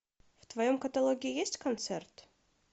в твоем каталоге есть концерт